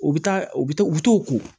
U bɛ taa u bɛ to u bɛ t'o ko